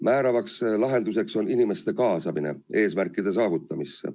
Määrav lahendus on inimeste kaasamine eesmärkide saavutamisse.